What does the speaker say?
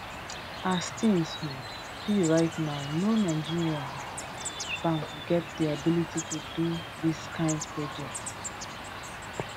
as tins um be right now no nigeria um bank get di ability to do dis kain projects for now